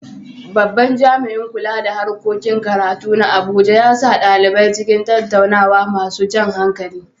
Babban jami’in kula da harkokin karatu na Abuja ya sa ɗalibai cikin tattaunawa masu jan hankali.